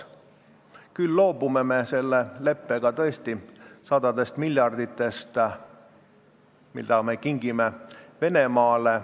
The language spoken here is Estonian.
Me loobume selle leppega tõesti sadadest miljarditest, mida me kingime Venemaale.